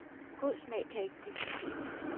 God smag kan ikke diskuteres